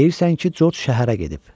Deyirsən ki, Corc şəhərə gedib.